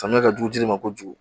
Samiya ka jugu jiri ma kojugu